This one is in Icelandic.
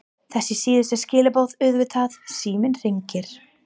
Þessi síðustu skilaboð auðvitað- Síminn hringir.